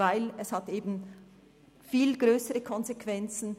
Denn dies hat eben viel weitergehende Konsequenzen.